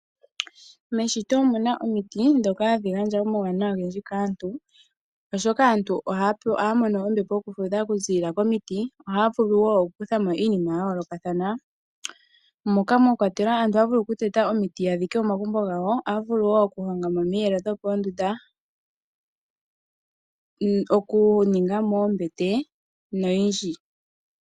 Meshito omu na omiti ndhoka hadhi gandja omauwanawa ogendji kaantu, oshoka aantu ohaya mono ombepo yokufudha okuziilila komiti, ohaya vulu wo okukutha mo iinima ya yoolokathana. Aantu ohaya vulu okuteta omiti ya dhike omagumbo gawo, ohaya vulu wo okuhonga mo omiyelo dhopoondunda, okuninga mo oombete noyindji.